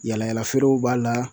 Yala yala feerew b'a la.